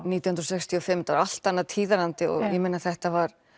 nítján hundruð sextíu og fimm þetta allt annar tíðarandi og ég meina þetta var